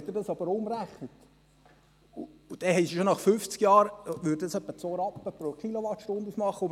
Wenn Sie das jedoch umrechnen, würde das schon nach fünfzig Jahren ungefähr 2 Rappen pro Kilowattstunde ausmachen.